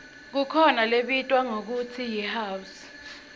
kukhona lebitwa ngekutsi yihouse